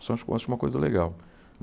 Isso eu acho acho uma coisa legal.